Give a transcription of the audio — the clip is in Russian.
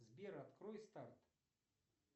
сбер открой старт